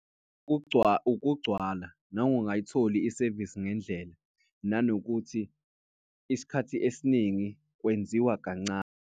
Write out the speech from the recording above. Ukugcwala nangongayitholi isevisi ngendlela. Nanokuthi isikhathi esiningi kwenziwa kancane.